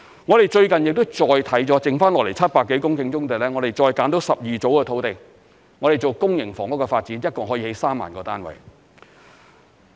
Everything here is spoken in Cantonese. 我們最近亦再檢視了剩下來700多公頃的棕地，並再物色了12組的土地，作公營房屋發展，一共可以建造3萬個單位。